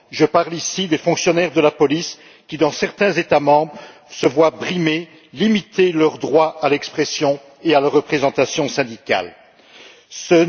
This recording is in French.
Je parle, ici, des fonctionnaires de police qui, dans certains États membres, sont brimés et voient leur droit à l'expression et à la représentation syndicale limité.